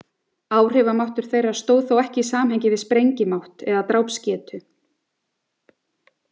Áhrifamáttur þeirra stóð þó ekki í samhengi við sprengimátt eða drápsgetu.